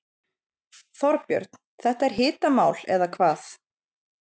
Þorbjörn, þetta er hitamál eða hvað?